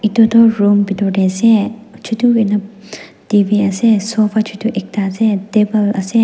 Etu tuh room bethor dae ase chutu hoina T_V ase sofa chutu ekta ase table ase.